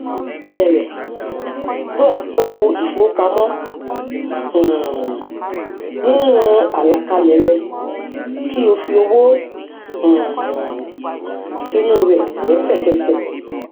bẹrẹ ló àpò ìfowópamọ um nínú àlàkalẹ rẹ kí o fi owó um sínú rẹ lẹṣẹkẹṣẹ